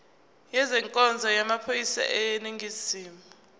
ezenkonzo yamaphoyisa aseningizimu